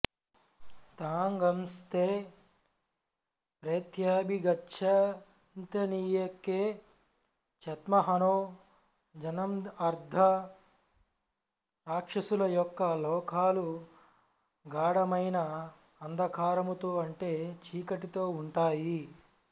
తాగ్ంస్తే ప్రేత్యాభిగచ్చన్తియేకే చాత్మహనో జనాఃఅర్థం రాక్షసుల యొక్క లోకాలు గాఢమైన అంధకారముతో అంటే చీకటితో ఉంటాయి